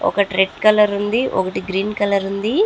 ఒకటి red colour ఉంది ఒకటి గ్రీన్ కలర్ ఉంది.